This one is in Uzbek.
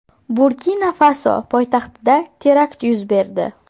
Burkina-Faso poytaxtida terakt yuz berdi.